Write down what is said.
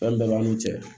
Fɛn bɛɛ b'a n'u cɛ